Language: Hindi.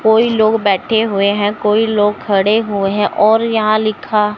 कोई लोग बैठे हुए है कोई लोग खड़े हुए है और यहां लिखा--